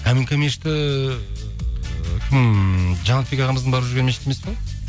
каминка мешіті кім жанатбек ағамыздың барып жүрген мешіті емес пе